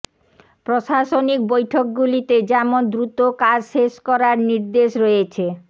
প্রশাসনিক বৈঠকগুলিতে যেমন দ্রুত কাজ শেষ করার নির্দেশ রয়েছে